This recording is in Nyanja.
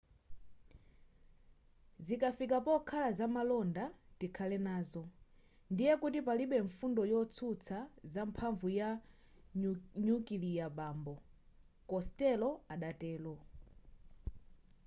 zikafika pokhala zamalonda tikhale nazo ndiye kuti palibe mfundo yotsutsa za mphamvu ya nyukilia bambo costello adatero